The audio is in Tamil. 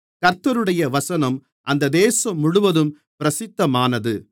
கர்த்தருடைய வசனம் அந்த தேசம் முழுவதும் பிரசித்தமானது